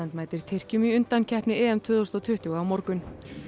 mætir Tyrkjum í undankeppni EM tvö þúsund og tuttugu á morgun